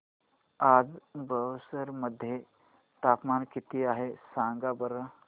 आज बक्सर मध्ये तापमान किती आहे सांगा बरं